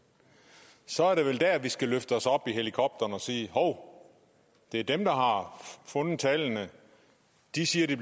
så er det vel der vi skal løfte os op i helikopteren og sige hov det er dem der har fundet tallene de siger de